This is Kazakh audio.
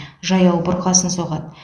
жаяу бұрқасын соғады